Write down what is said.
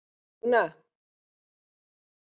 Dúnna, hringdu í Gígjar.